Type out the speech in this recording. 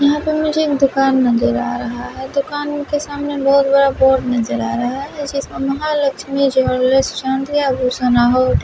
यहाँ मुझे एक दुकान नजर आ रहा है दुकान के सामने बहुत बड़ा बोर्ड नजर आ रहा है जिसमें महालक्ष्मी स्वर्ण आभूषण--